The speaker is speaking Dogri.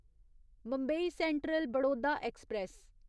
Mumbai central Vadodara express